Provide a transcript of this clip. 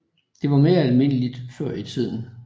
Det var mere almindeligt før i tiden